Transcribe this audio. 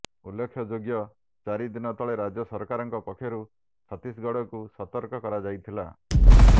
ଉଲ୍ଲେଖଯୋଗ୍ୟ ଚାରି ଦିନ ତଳେ ରାଜ୍ୟ ସରକାରଙ୍କ ପକ୍ଷରୁ ଛତିଶଗଡକୁ ସତର୍କ କରାଯାଇଥିଲା